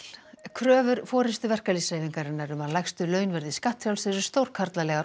kröfur forystu verkalýðshreyfingarinnar um að lægstu laun verði skattfrjáls eru stórkarlalegar